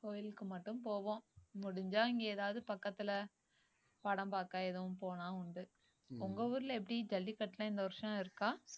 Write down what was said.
கோயிலுக்கு மட்டும் போவோம் முடிஞ்சா இங்க ஏதாவது பக்கத்துல படம் பாக்க எதுவும் போனா உண்டு உங்க ஊர்ல எப்படி ஜல்லிக்கட்டு எல்லாம் இந்த வருஷம் இருக்கா